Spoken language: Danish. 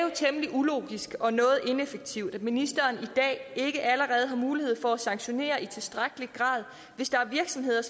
ulogisk og noget ineffektivt at ministeren i dag ikke allerede har mulighed for at sanktionere i tilstrækkelig grad hvis der er virksomheder